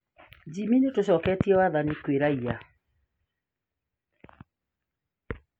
Jimmy: Nitũcoketie wathani kwĩ raia